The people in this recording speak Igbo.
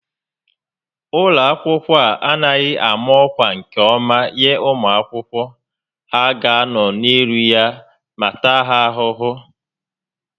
Ụlọ akwụkwọ a anaghị ámá ọkwá nke ọma enye ụmụ akwụkwọ, ha ga anọ n'elu ya ma taa ha ahụhụ